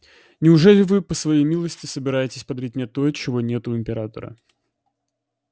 неужели вы по своей милости собираетесь подарить мне то чего нет у императора